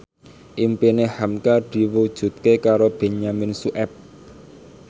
impine hamka diwujudke karo Benyamin Sueb